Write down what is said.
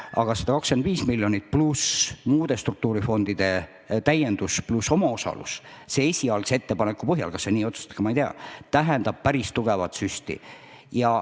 Aga 125 miljonit, pluss muude struktuurifondide täiendus, pluss omaosalus – esialgse ettepaneku põhjal, kas nii otsustatakse, seda ma ei tea – tähendab päris tugevat süsti.